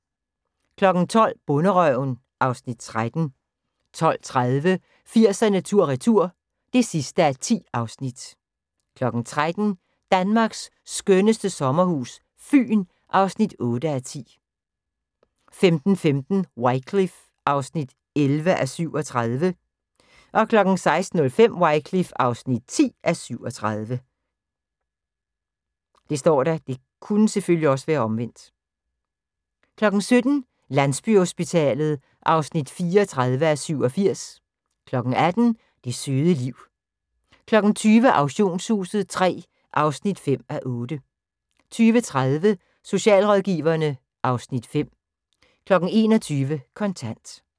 12:00: Bonderøven (Afs. 13) 12:30: 80'erne tur retur (10:10) 13:00: Danmarks skønneste sommerhus - Fyn (8:10) 15:15: Wycliffe (11:37) 16:05: Wycliffe (10:37) 17:00: Landsbyhospitalet (34:87) 18:00: Det søde liv 20:00: Auktionshuset III (5:8) 20:30: Socialrådgiverne (Afs. 5) 21:00: Kontant